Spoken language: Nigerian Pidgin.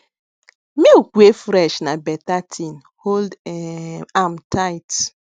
milk wey fresh na better thing hold um am tight